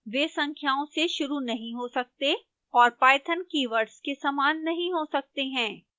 वे संख्याओं से शुरू नहीं हो सकते और python keywords के समान नहीं हो सकते हैं